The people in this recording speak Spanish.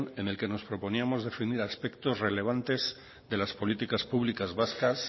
en el que nos proponíamos defender aspectos relevantes de las políticas públicas vascas